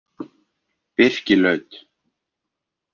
Birkilaut